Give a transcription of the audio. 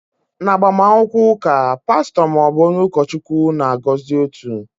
N'agbamakwụkwọ ụka, pastọ ma ọ bụ onye ụkọchukwu na-agọzi otu.